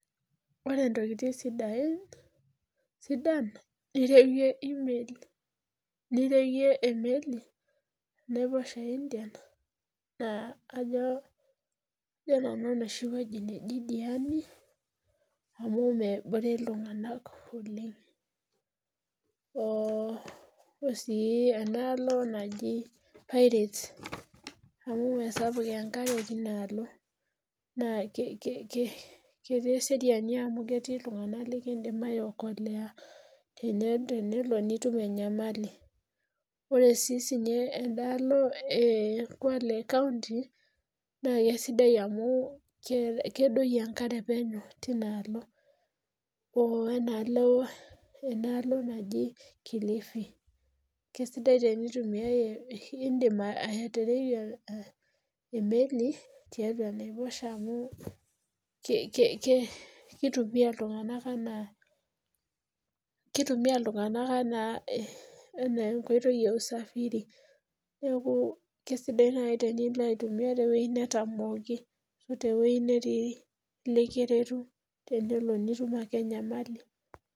Ore ntokiting sidain sidan niereyie emeli tyeneiposha Indian naa kajo nanu enoshi weji ediani amu nebore iltunganak oleng .wenaalo naji pirate amu mee sapuk enkare tinaalo naa ketii eseriani amu ketii iltungabnk likindim aiokolea tenelo nitum enyamali ,ore sii ninye endaalo ekwale kaonti naa keisidai amu kedoyio enkare penyo tinaalo wenaalo naji kilifi, indim atareyie emeli tiatua enaiposha amu kitumiya iltunganak enaa enkoitoi eusafiri ,neeku keisidai naaji tinilo aitumiyia teweji netamooki oteweji netii likiretu tenelo ake nitum enyamali.